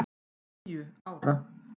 Níu ára!